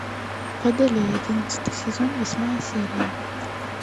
водолей одиннадцатый сезон восьмая серия